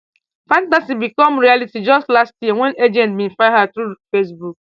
fantasy become reality just last year wen agents bin find her through facebook